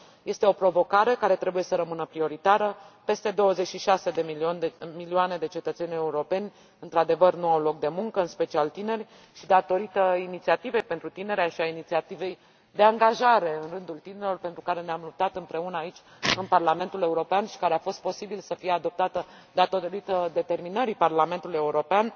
Este o provocare care trebuie să rămână prioritară peste 26 de milioane de cetățeni europeni într adevăr nu au loc de muncă și, datorită inițiativei pentru tineri și a inițiativei de angajare în rândul tinerilor, pentru care ne am luptat împreună, aici, în Parlamentul European și care a fost posibil să fie adoptată datorită determinării Parlamentului European,